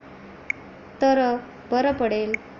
तर बर पडेल.